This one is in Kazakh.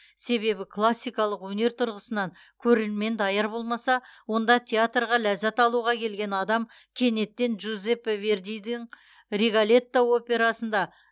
себебі классикалық өнер тұрғысынан көрермен даяр болмаса онда театрға ләззат алуға келген адам кенеттен жжузеппе вердидің риголетто операсында